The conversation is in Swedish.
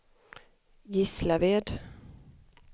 Gislaved